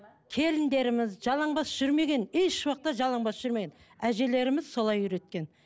келіндеріміз жалаң бас жүрмеген еш уақытта жалаңбас жүрмеген әжелеріміз солай үйреткен